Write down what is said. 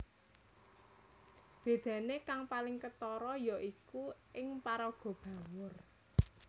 Bedane kang paling ketara ya iku ing paraga Bawor